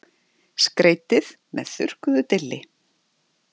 Skreytið með þurrkuðu dilli.